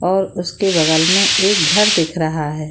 और उसके बगल में एक घर दिख रहा है |